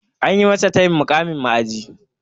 Anyi masa tayin muƙamin ma'aji.